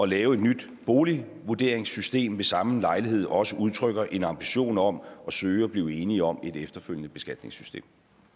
lave et nyt boligvurderingssystem ved samme lejlighed også udtrykker en ambition om at søge at blive enige om et efterfølgende beskatningssystem